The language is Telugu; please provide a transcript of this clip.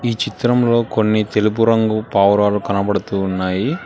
ఈ చిత్రంలో కొన్ని తెలుపు రంగు పావురాలు కనబడుతూ ఉన్నాయి.